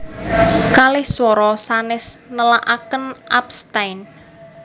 Kalih swara sanès nélakaken abstain